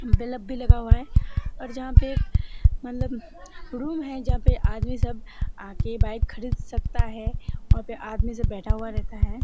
Bulb भी लगा हुआ है और जहाँ पे मतलब रूम है जहाँ पर आदमी सब आके बाइक खरीद सकता है वहाँ पे आदमी सब बैठा हुआ रहता है।